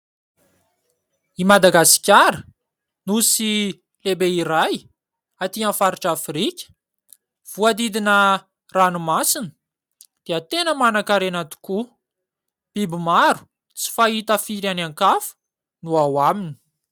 I Madagasikara, nosy lehibe iray atỳ amin'ny faritra Afrika. Voahodidina ranomasina dia tena manankarena tokoa. Biby maro tsy fahita firy any ankafa no ao aminy.